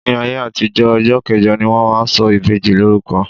Ní ayé àtijó, ọjọ́ kẹjọ ni wón máa ń sọ ìbejì lórúko.